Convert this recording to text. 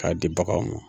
K'a di baganw ma